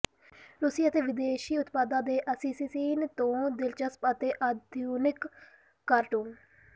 ਰੂਸੀ ਅਤੇ ਵਿਦੇਸ਼ੀ ਉਤਪਾਦਾਂ ਦੇ ਪਲਾਸਿਸਿਸਿਨ ਤੋਂ ਦਿਲਚਸਪ ਅਤੇ ਆਧੁਨਿਕ ਕਾਰਟੂਨ